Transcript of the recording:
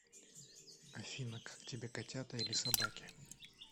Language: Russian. афина как тебе котята или собаки